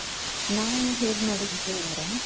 ನಾವು ಹೇಗ್ ಮಾಡುದ್ವಿ ಅಂದ್ರೆ .